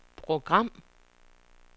program